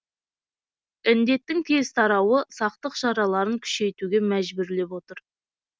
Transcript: індеттің тез тарауы сақтық шараларын күшейтуге мәжбүрлеп отыр